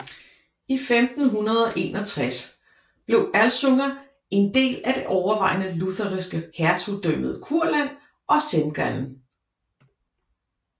I 1561 blev Alsunga en del af det overvejende lutherske Hertugdømmet Kurland og Semgallen